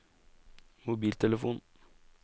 mobiltelefon